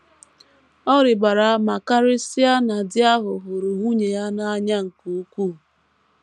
Ọ rịbara ama karịsịa na di ahụ hụrụ nwunye ya n’anya nke ukwuu.